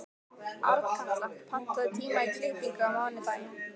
Arnkatla, pantaðu tíma í klippingu á mánudaginn.